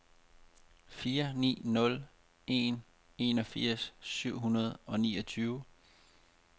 fire ni nul en enogfirs syv hundrede og niogtyve